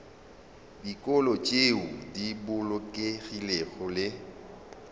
dikolo tšeo di bolokegilego le